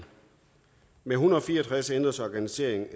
hundrede og fire og tres ændres organiseringen af